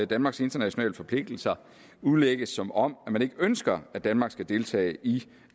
danmarks internationale forpligtelser udlægges som om man ikke ønsker at danmark skal deltage i